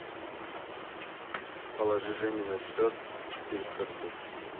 положи жене на счет четыреста рублей